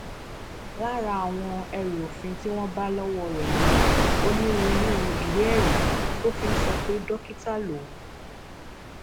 lára àwọn ẹrù òfin tí wọn bá lọwọ rẹ ni onírúurú ìwéẹrí tó fi ń sọ pé dókítà lòun